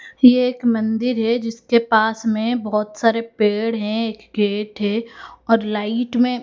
ये एक मंदिर है जिसके पास में बहोत सारे पेड़ है गेट है और लाइट में--